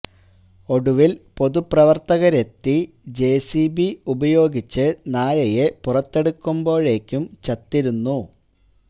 ഒടുവില് പൊതുപ്രവര്ത്തകരെത്തി J C B ഉപയോഗിച്ച് നായയെ പുറത്തെടുത്തപ്പോഴേക്കും ചത്തിരുന്നു